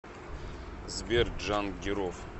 сбер джангиров